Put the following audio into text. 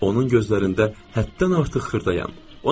Onun gözlərində həddən artıq xırdayam.